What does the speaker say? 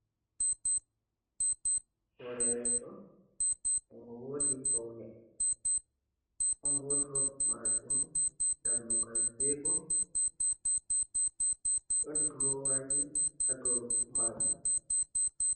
Hore leso ngo wodi faune don wodrob mardum dabmugal jego don drowaji hado maji.